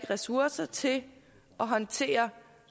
ressourcer til at håndtere